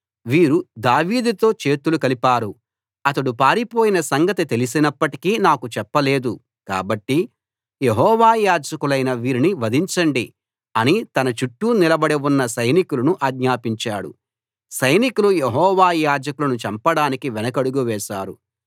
వీరు దావీదుతో చేతులు కలిపారు అతడు పారిపోయిన సంగతి తెలిసినప్పటికీ నాకు చెప్ప లేదు కాబట్టి యెహోవా యాజకులైన వీరిని వధించండి అని తన చుట్టూ నిలబడి ఉన్న సైనికులను ఆజ్ఞాపించాడు సైనికులు యెహోవా యాజకులను చంపడానికి వెనకడుగు వేశారు